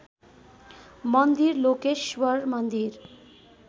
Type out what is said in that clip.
मन्दिर लोकेश्वर मन्दिर